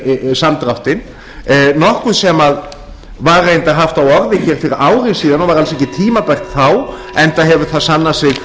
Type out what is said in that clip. samdráttinn nokkuð sem var reyndar haft á orði hér fyrir ári síðan og var alls ekki tímabært þá enda hefur það sannað sig að